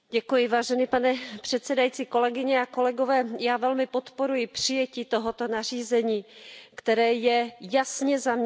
Pane předsedající, kolegyně a kolegové, já velmi podporuji přijetí tohoto nařízení, které je jasně zaměřené.